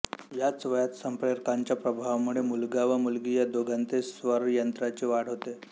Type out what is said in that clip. याच वयात संप्रेरकांच्या प्रभावामुळे मुलगा व मुलगी या दोघांतही स्वरयंत्राची वाढ होते